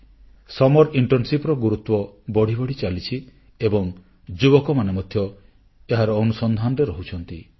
ଗ୍ରୀଷ୍ମଛୁଟି internship ର ଗୁରୁତ୍ୱ ବଢ଼ି ବଢ଼ି ଚାଲିଛି ଏବଂ ଯୁବକମାନେ ମଧ୍ୟ ଏହାର ଅନୁସନ୍ଧାନରେ ରହୁଛନ୍ତି